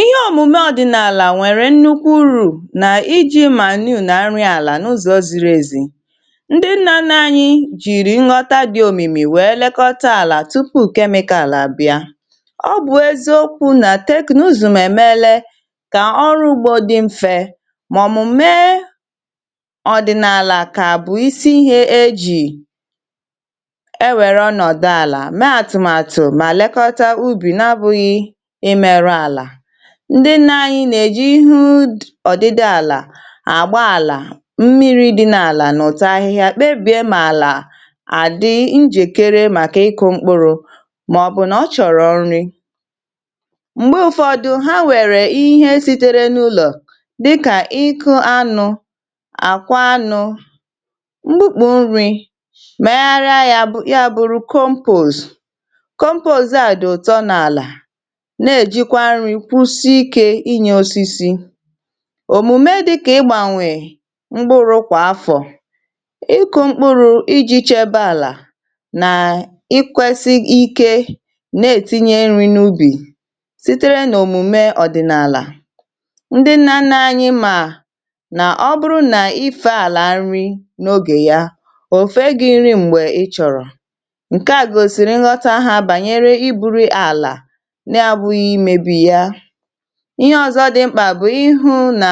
ihe omume ọdịnala nwere nnukwu uru na iji manure na arịala n’ụzọ ziri ezi. ndị nna na anyị jiri nghọta dị omimi wee lekọta ala tụpụ kemịkal abịa ọ bụ eziokwu na teknụzụ mmemele ka ọrụ ugbo dị mfe ma omume ọdịnala ka bụ isi ihe eji e were ọnọdọ ala mee atụmatụ ma lekọta ubi na abụghị ndị na-anyị̇ nà-èji ihu ọdịdị àlà àgba àlà mmiri dị na-àlà n’ụ̀tọ ahịhịa kpebìe mààlà àdị njèkere màkà ịkụ̇ mkpụrụ màọ̀bụ̀ nà ọ chọ̀rọ̀ nrị̇ m̀gbe ụ̇fọdụ ha nwèrè ihe sitere n’ụlọ̀ dịkà ịkụ̇ anụ̇ àkwa anụ̇ mkpụkpụ̇ nrị̇ mègharịa ya bụ̇rụ̇ compost compost àdị ụ̀tọ n’àlà òmùme dị̇kà ịgbànwè mkpụrụ̇ kwà afọ̀ ịkụ̇ mkpụrụ̇ ijì chebe àlà nà ịkwesi ike na-etinye nri n’ubì sitere nà òmùme ọ̀dị̀nàlà ndị nna nna anyị mà nà ọ bụrụ nà ife àlà nri n’ogè ya òfu e gị̇ nri m̀gbè ị chọ̀rọ̀ ǹkè a gòsìrì nghọta ha bànyere ibu̇ri̇ àlà ihe ọzọ̇ dị mkpà bụ̀ ịhụ nà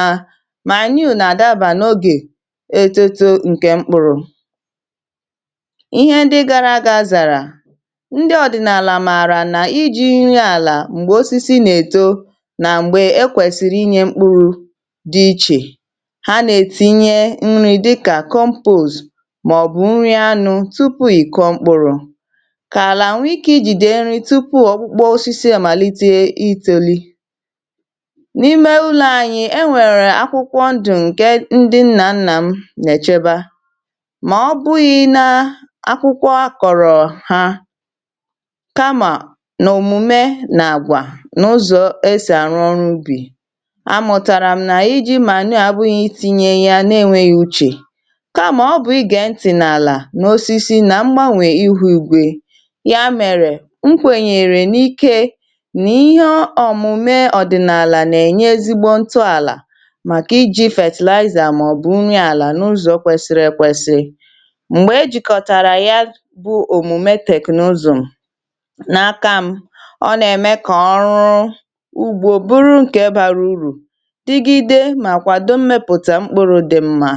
manure nà àdabà n’ogè eto too ǹkè mkpụrụ̇ ihe dị gara aga azàrà ndị ọ̀dị̀nàlà mààrà nà iji̇ nri àlà m̀gbè osisi nà-èto nà m̀gbè e kwèsìrì inyė mkpụrụ̇ dị ichè ha nà-ètinye nri dịkà compost màọ̀bụ̀ nri anụ tupu̇ ì kọmkpụ̇rụ̇ n’ime ụlọ̇ ànyị e nwèrè akwụkwọ ndù ǹke ndị nnȧ nnà m nècheba mà ọ bụghị̇ nȧ akwụkwọ akọ̀rọ̀ ha kamà n’òmùme nà àgwà n’ụzọ̇ e sì arụ̀ ọrụ ubì a mụ̀tàrà m nà iji̇ mà nà-ànụ abụ̇ghị̇ iti̇nyė yȧ n’enweghi uchè kamà ọ bụ̀ ị gà ntị̀nàlà n’osisi nà mgbanwè ịhụ̇ ìgwè yà mèrè m kwènyèrè n’ike ọ̀mụmė ọ̀dị̀nààlà nà-ènye ezigbo ǹtụ àlà màkà iji̇ fertilizer màọ̀bụ̀ unyi àlà n’ụzọ̇ kwesiri ekwesi m̀gbè ejìkọ̀tàrà ya bụ̇ òmụmė teknụzụ̀ m n’aka m ọ nà-ème kà ọrụ ugbo bụrụ ǹkè bara urù dịgide màkwàdò mmepụ̀ta mkpụrụ̇ dị mma